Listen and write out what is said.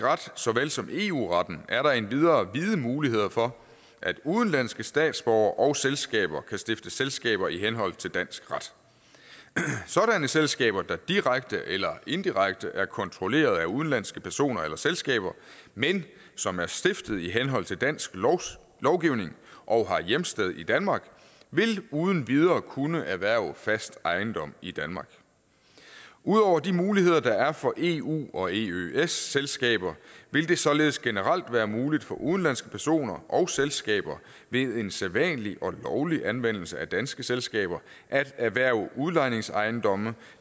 ret så vel som eu retten er der endvidere vide muligheder for at udenlandske statsborgere og selskaber kan stifte selskaber i henhold til dansk ret sådanne selskaber der direkte eller indirekte er kontrolleret af udenlandske personer eller selskaber men som er stiftet i henhold til dansk lovgivning og har hjemsted i danmark vil uden videre kunne erhverve fast ejendom i danmark ud over de muligheder der er for eu og eøs selskaber vil det således generelt være muligt for udenlandske personer og selskaber ved en sædvanlig og lovlig anvendelse af danske selskaber at erhverve udlejningsejendomme